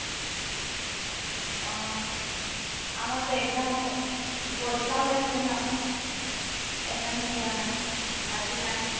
অহ, আমাৰতো exam হৈ, পৰীক্ষা হৈ আছে ন । সেইকাৰণে যোৱা নাই, আজি নাই